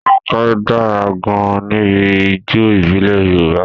Ronke dára gan-an níbi ijó ìbílẹ̀ Yorùbá.